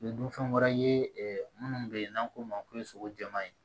Dunfɛn wɛrɛ ye ɛ munnu be yen n'an k'olu ma ko sogo jɛman ye